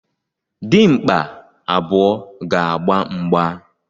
Dimkpa abụọ ga-agba mgba